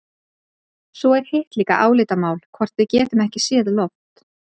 Svo er hitt líka álitamál hvort við getum ekki séð loft.